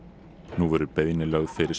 nú verður beiðni lögð fyrir